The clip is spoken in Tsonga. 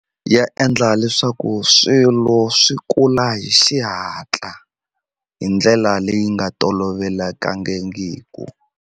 Ya endla leswaku swilo swi kula hi xihatla hi ndlela leyi nga tolovelekangiku.